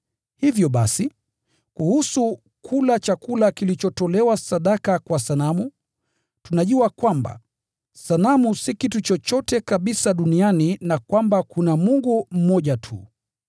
Hivyo basi, kuhusu kula chakula kilichotolewa sadaka kwa sanamu: Tunajua kwamba “Sanamu si kitu chochote kabisa duniani,” na kwamba “Kuna Mungu mmoja tu.”